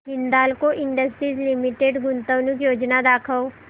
Hindalco Industries Limited गुंतवणूक योजना दाखव